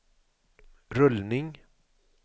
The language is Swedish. rullning